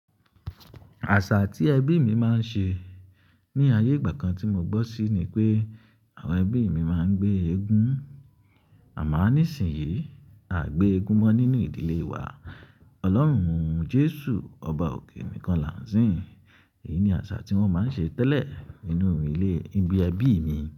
Àṣà tí ẹbí mi máa ń ṣe ní ayé ìgbà kan tí mo gbọ́ sí ni pé àwọn ẹbí mi máa ń gbé egun. Àmọ ní ìsinyìí, a gbé egun mọ́ nínú ìdílé wa. Ọlọ́run Jesu ọba òkè nìkan là ń sìn. Èyí ni àṣà tí wọ́n máa ń ṣe tẹ́lẹ̀ nínú ilé, ìbí ẹbí mi.